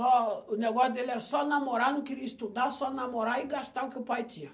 O negócio dele era só namorar, não queria estudar, só namorar e gastar o que o pai tinha.